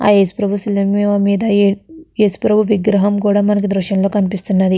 ఆ యేసు ప్రభువు శిలువ మీద ఏ-ఏ యేసు ప్రభువు విగ్రహం కూడా మనకి కనిపిస్తున్నది.